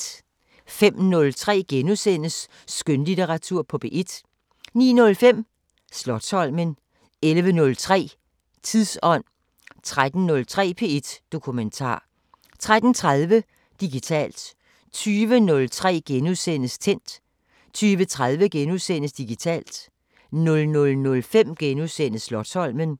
05:03: Skønlitteratur på P1 * 09:05: Slotsholmen 11:03: Tidsånd 13:03: P1 Dokumentar 13:30: Digitalt 20:03: Tændt * 20:30: Digitalt * 00:05: Slotsholmen *